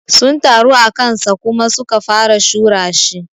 Sun taru akansa Kuma su ka fara shura shi.